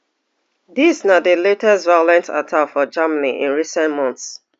dis na di latest violent attack for germany in recent months